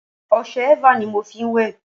ọṣẹ eva ni mo fí n wẹ̀